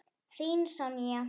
Þín Sonja.